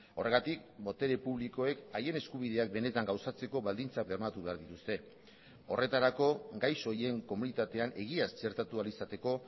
horregatik botere publikoek haien eskubideak benetan gauzatzeko baldintzak bermatu behar dituzte horretarako gaixo horien komunitatean egiaz txertatu ahal izateko